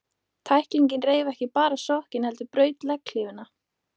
Tæklingin reif ekki bara sokkinn, heldur braut legghlífina.